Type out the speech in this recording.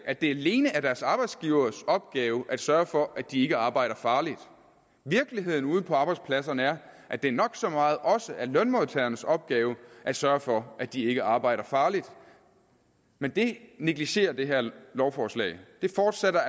at det alene er deres arbejdsgivers opgave at sørge for at de ikke arbejder farligt virkeligheden ude på arbejdspladserne er at det nok så meget også er lønmodtagernes opgave at sørge for at de ikke arbejder farligt men det negligerer det her lovforslag det fortsætter